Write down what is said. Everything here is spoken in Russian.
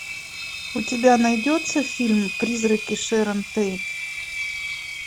у тебя найдется фильм призраки шэрон тейт